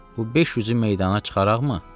Bu 500-ü meydana çıxaraqmı?